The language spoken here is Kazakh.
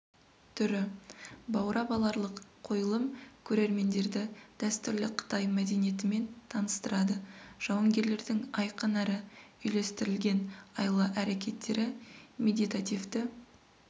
түрі баурап аларлық қойылым көрермендерді дәстүрлі қытай мәдениетімен таныстырады жауынгерлердің айқын әрі үйлестірілген айла-әрекеттері медитативті